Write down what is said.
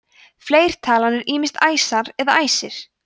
fleirtalan er ýmist æsar eða æsir